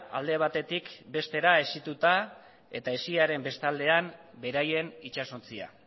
alde batetik bestera hesituta eta hesiaren bestaldean beraien itsasontzia